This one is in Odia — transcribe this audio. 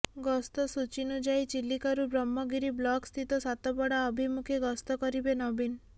ଗସ୍ତ ସୂଚୀନୁଯାୟୀ ଚିଲିକାରୁ ବ୍ରହ୍ମଗିରି ବ୍ଲକ୍ ସ୍ଥିତ ସାତପଡା ଅଭିମୁଖେ ଗସ୍ତ କରିବେ ନବୀନ